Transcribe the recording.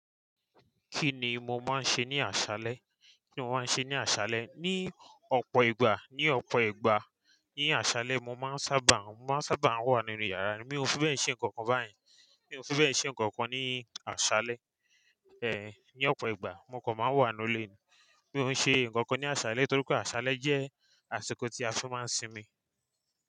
Kíni mo máa ń ṣe ní àṣálẹ́? Kíni mo máa ń ṣe ní àṣálẹ́? Ni ọ̀pọ̀ ìgbà, ni ọ̀pọ̀ ìgbà ní àṣálẹ́ mo máa ń sábà, mo máa ń sábà wà nínú yàrá. Mi ò fi bẹ́ẹ̀ ṣe nǹkan kan báyén Mi ò fi bẹ́ẹ̀ ṣe nǹkan kan ní àṣálẹ́. Eh, ní ọ̀pọ̀ ìgbà mo kò máa ń wà nínú ilé mi. Mi ò ṣe nǹkan kan ní àṣálẹ́ torí pé àṣálẹ́ jẹ́ àsìkò tí a fi máa ń sinmi.